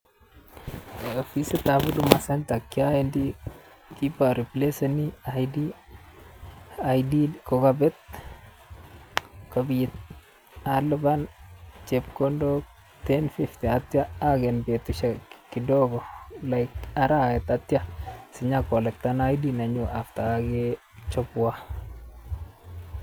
Opisitab Huduma Centre kiowendi kiboreplaseni id id kokobet kobit alipan chepkondok ten fifty ak kitio ogen betusiek kidogo like arawet ak kitio sinyo kolecten id nenyun after kokechobwon.